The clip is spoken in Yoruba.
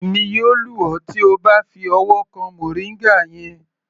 Èmi yóò lù ọ tí O bá fi ọwọ́ kan moringa yẹn.